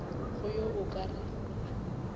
go yo a ka re